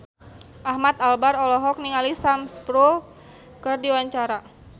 Ahmad Albar olohok ningali Sam Spruell keur diwawancara